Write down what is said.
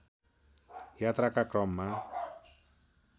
यात्राका क्रममा